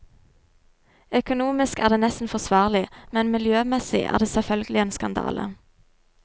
Økonomisk er det nesten forsvarlig, men miljømessig er det selvfølgelig en skandale.